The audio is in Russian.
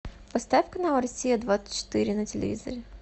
поставь канал россия двадцать четыре на телевизоре